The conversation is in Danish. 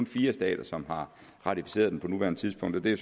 fire stater som har ratificeret den på nuværende tidspunkt og det er